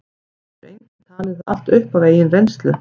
það getur enginn talið það allt upp af eigin reynslu